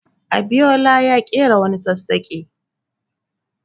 Abiyola ya ƙera wani sassaƙa.